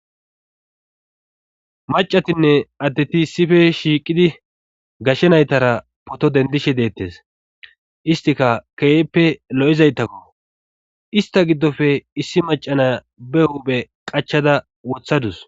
Macatinne addeti issife shiiqidi gashshe naytara poto dendishe deettes istika keeppe lo'izaytakko ista giddofe issi macana be huuphe qachada wothadus